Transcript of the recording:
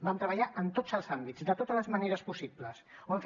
vam treballar en tots els àmbits de totes les maneres possibles ho vam fer